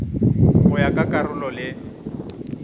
go ya ka karolo le